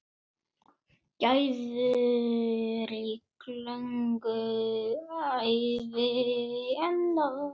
Gæfurík löng ævi á enda.